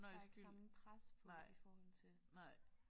Der er ikke samme pres på i forhold til